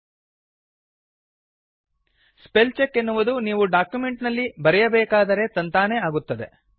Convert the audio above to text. spell check ಎನ್ನುವುದು ನೀವು document ನಲ್ಲಿ ಬರೆಯಬೇಕಾದರೇ ತಂತಾನೇ ಆಗುತ್ತದೆ